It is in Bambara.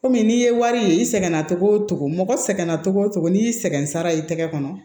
Kɔmi n'i ye wari ye i sɛgɛnna togo togo mɔgɔ sɛgɛnna togo o togo n'i y'i sɛgɛn sara i tɛgɛ kɔnɔ